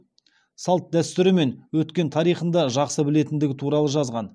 салт дәстүрі мен өткен тарихын да жақсы білетіндігі туралы жазған